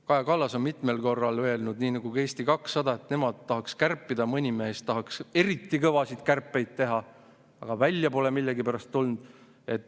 Kaja Kallas on mitmel korral öelnud, nii nagu ka Eesti 200, et nemad tahaksid kärpida, mõni mees tahaks eriti kõvasid kärpeid teha, aga välja pole millegipärast tulnud.